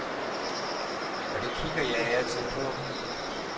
Og det kigger jeg af og til på.